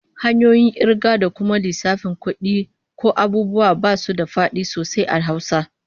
Hanyoyin kirga da kuma lissafin kudi ko abubuwa basu da fadi sosai a Hausa